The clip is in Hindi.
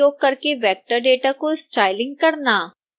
labeling फीचर्स का उपयोग करके वेक्टर डेटा को स्टाइलिस करना